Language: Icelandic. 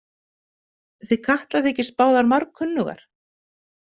Þið Katla þykist báðar margkunnugar.